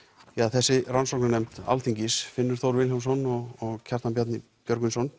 þessi rannsóknarnefnd Alþingis Finnur Þór Vilhjálmsson og Kjartan Bjarni Björgvinsson